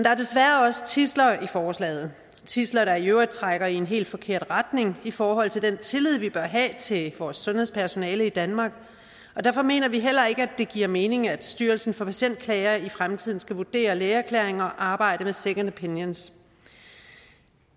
er desværre også tidsler i forslaget tidsler der i øvrigt trækker i en hel forkert retning i forhold til den tillid vi bør have til vores sundhedspersonale i danmark og derfor mener vi heller ikke at det giver mening at styrelsen for patientklager i fremtiden skal vurdere lægeerklæringer og arbejde med second opinions